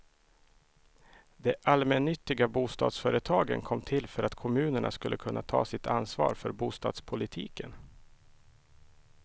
De allmännyttiga bostadsföretagen kom till för att kommunerna skulle kunna ta sitt ansvar för bostadspolitiken.